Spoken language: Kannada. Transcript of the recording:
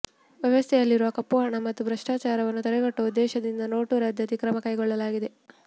ವ್ಯವಸ್ಥೆಯಲ್ಲಿರುವ ಕಪ್ಪುಹಣ ಮತ್ತು ಭ್ರಷ್ಟಾಚಾರವನ್ನು ತಡೆಗಟ್ಟುವ ಉದ್ದೇಶದಿಂದ ನೋಟು ರದ್ದತಿ ಕ್ರಮ ಕೈಗೊಳ್ಳಲಾಗಿದೆ